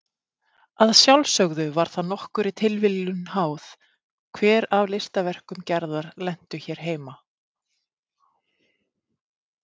Að sjálfsögðu var það nokkurri tilviljun háð hver af listaverkum Gerðar lentu hér heima.